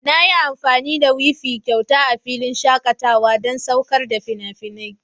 Na yi amfani da wifi kyauta a filin shakatawa don saukar da fina-finai.